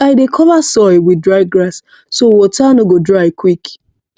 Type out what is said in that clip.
i dey cover soil with dry grass so water no go dry quick